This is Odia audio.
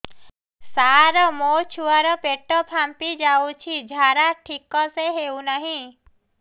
ସାର ମୋ ଛୁଆ ର ପେଟ ଫାମ୍ପି ଯାଉଛି ଝାଡା ଠିକ ସେ ହେଉନାହିଁ